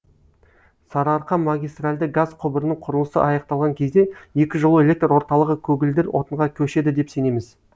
сарыарқа магистарльды газ құбырының құрылысы аяқталған кезде екі жылу электр орталығы көгілдір отынға көшеді деп сенеміз